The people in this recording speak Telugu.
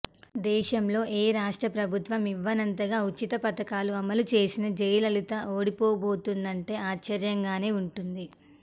దేశంలో ఏ రాష్ట్రప్రభుత్వం యివ్వనంతగా ఉచిత పథకాలు అమలు చేసిన జయలలిత ఓడిపోబోతోందంటే ఆశ్చర్యంగానే వుంటుంది